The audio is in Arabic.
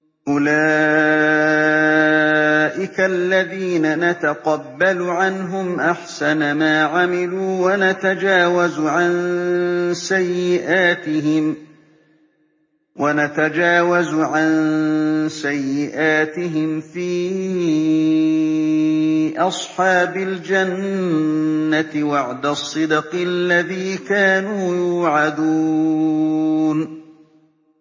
أُولَٰئِكَ الَّذِينَ نَتَقَبَّلُ عَنْهُمْ أَحْسَنَ مَا عَمِلُوا وَنَتَجَاوَزُ عَن سَيِّئَاتِهِمْ فِي أَصْحَابِ الْجَنَّةِ ۖ وَعْدَ الصِّدْقِ الَّذِي كَانُوا يُوعَدُونَ